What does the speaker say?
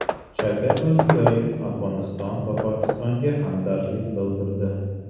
Shavkat Mirziyoyev Afg‘oniston va Pokistonga hamdardlik bildirdi.